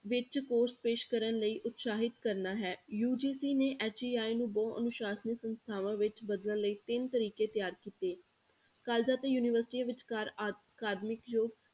ਵਿੱਚ course ਪੇਸ਼ ਕਰਨ ਲਈ ਉਤਸਾਹਿਤ ਕਰਨਾ ਹੈ UGC ਨੇ HEI ਨੂੰ ਬਹੁ ਅਨੁਸਾਸਨੀ ਸੰਸਥਾਵਾਂ ਵਿੱਚ ਬਦਲਣ ਲਈ ਤਿੰਨ ਤਰੀਕੇ ਤਿਆਰ ਕੀਤੇ colleges ਤੇ ਯੂਨੀਵਰਸਟੀਆਂ ਵਿਚਕਾਰ ਅਕਾਦਮਿਕ